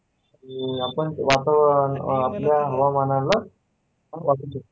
आणि आपण वातावरण आपल्या हवामानावर